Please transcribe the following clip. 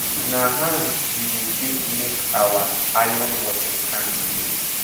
na hand we dey take make our iron watering can